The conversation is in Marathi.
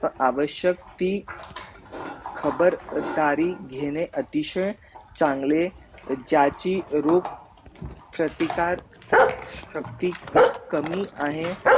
आवश्यक ती खबर तारी घेणे अतिशय चांगले च्याची रुप प्रतिकार सप्ती कमी आहे